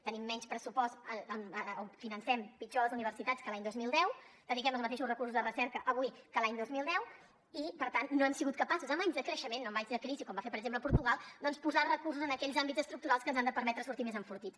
tenim menys pressupost o financem pitjor les universitats que l’any dos mil deu dediquem els mateixos recursos de recerca avui que l’any dos mil deu i per tant no hem sigut capaços en anys de creixement no en anys de crisi com va fer per exemple portugal doncs de posar recursos en aquells àmbits estructurals que ens han de permetre sortir més enfortits